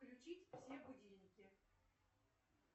включить все будильники